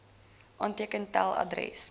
aanteken tel adres